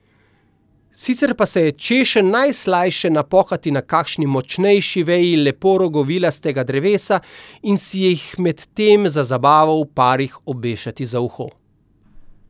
Sicer pa se je češenj najslajše napokati na kakšni močnejši veji lepo rogovilastega drevesa in si jih med tem za zabavo v parih obešati za uho.